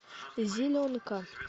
зеленка